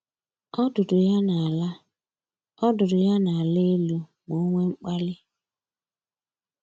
Ọdụdụ ya na-ala Ọdụdụ ya na-ala elu ma o nwee mkpali